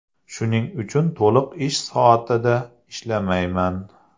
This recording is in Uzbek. Shuning uchun to‘liq ish soatida ishlamayman.